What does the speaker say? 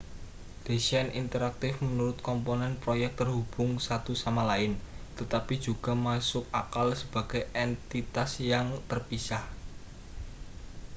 desain interaktif menuntut komponen proyek terhubung satu sama lain tetapi juga masuk akal sebagai entitas yang terpisah